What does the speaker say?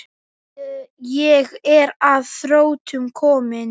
Ég er að þrotum kominn.